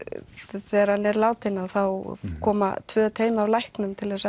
þegar hann er látinn þá koma tvö teymi af læknum til